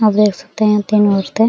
आप देख सकते है तीन औरते --